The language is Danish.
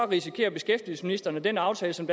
risikerer beskæftigelsesministeren at den aftale som